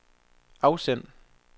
afsend